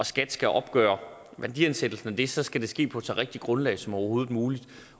skat skal opgøre værdiansættelsen af det så skal det ske på et så rigtigt grundlag som overhovedet muligt